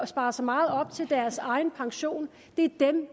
sparet så meget op til deres egen pension